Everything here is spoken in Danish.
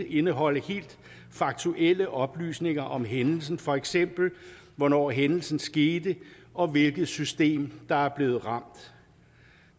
indeholde helt faktuelle oplysninger om hændelsen for eksempel hvornår hændelsen skete og hvilket system der er blevet ramt